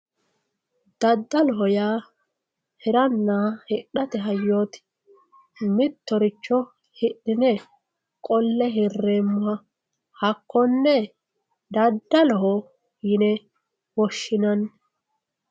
daddaloho yaa hiranna hidhate hayyooti mittoricho hidhine qolle hirreemmoha hakkonne dadaloho yine woshshinani